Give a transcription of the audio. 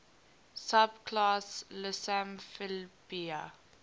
subclass lissamphibia